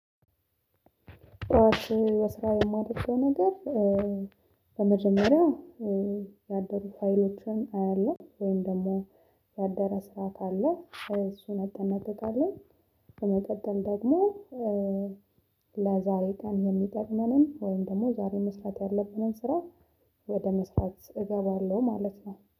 በስራ የማደርገው ነገር በመጀመሪያ ያደሩ ፋይሎችን አያለሁ ወይም ደግሞ ያደረ ስራ ካለ እሱን አጠናቅቃለሁ። በመቀጠል ደግሞ ለዛሬ ቀን የሚጠቅመንን ወይም ደግሞ ዛሬ መስራት ያለብንን ስራ ወደ መስራት እገባለሁ ማለት ነው